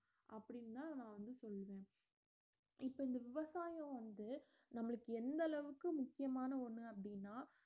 அப்படிந்தான் நா வந்து சொல்லறேன் இப்ப இந்த விவசாயம் வந்து நம்மளுக்கு எந்த அளவுக்கு முக்கியமான ஒன்னு அப்படின்னா